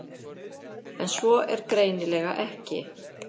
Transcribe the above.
En svo er greinilega ekki.